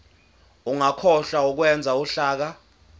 ungakhohlwa ukwenza uhlaka